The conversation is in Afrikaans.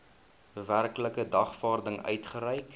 werklike dagvaarding uitgereik